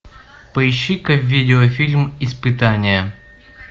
поищи ка видеофильм испытание